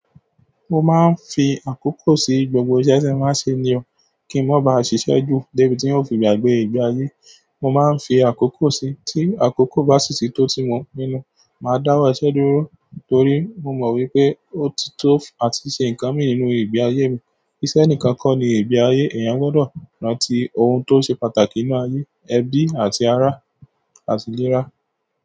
Mo máa ń fi àkókò sí gbogbo iṣẹ́ tí màá ṣe nío kí ń má ba à ṣiṣẹ́ ju. De bi ti un o fi gbagbe igbe aye. Mo máa ń fi àkókò si, tí àkókò bá sì tító tí mo pínú, màá dáwọ́ iṣẹ́ dúró torí mo mọ̀ wípé ó ti tó àti ṣe ǹkan mi nínú ìgbé ayé mi. Iṣẹ́ ǹikan kan ni ìgbé ayé, èèyàn gbọdọ̀ rántí ohun tó ṣe pàtàkì nínú ayé, ẹbí àti ara àti ìlera.